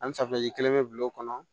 Ani safinɛji kelen be bila o kɔnɔ